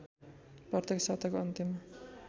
प्रत्येक साताको अन्त्यमा